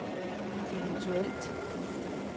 eventuelt